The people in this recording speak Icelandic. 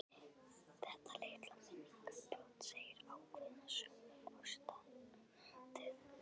Þetta litla minningarbrot segir ákveðna sögu um ástandið.